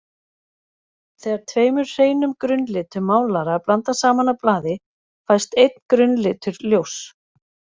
Þegar tveimur hreinum grunnlitum málara er blandað saman á blaði fæst einn grunnlitur ljóss.